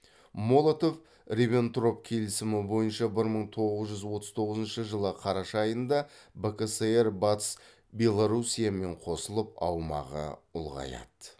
молотов рибентроп келісімі бойынша бір мың тоғыз жүз отыз тоғызыншы жылы қараша айында бкср батыс белоруссиямен қосылып аумағы ұлғаяды